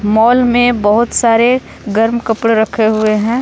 मोल में बहुत सारे गरम कपड़े रखे हुए हैं।